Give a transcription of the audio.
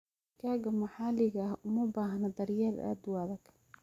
Digaagga maxalliga ah uma baahna daryeel aad u adag.